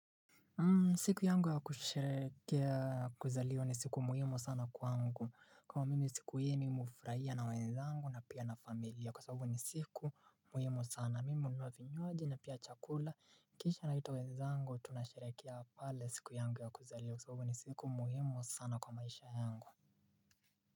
Siku yangu ya kusherehekea kuzaliwa ni siku muhimu sana kwangu. Kuwa mimi siku hiyo, mimi hufurahia na wenzangu na pia na familia. Kwa sababu ni siku muhimu sana. Mimi hununua vinywaji na pia chakula. Kisha naita wenzangu, tunasherehekea pale siku yangu ya kuzaliwa. Kwa sababu ni siku muhimu sana kwa maisha yangu.